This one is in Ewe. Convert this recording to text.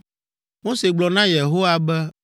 Mose gblɔ na Yehowa be,